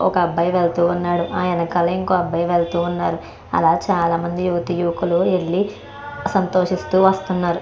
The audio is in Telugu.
ఒక అబ్బాయి వెళ్తూ ఉన్నదు. అలానే ఇంకో అబ్బాయి వేల్తునదు. అలానే చాల మంది వెళ్తునారు.